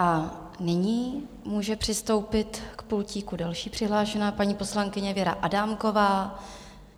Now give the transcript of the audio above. A nyní může přistoupit k pultíku další přihlášená, paní poslankyně Věra Adámková.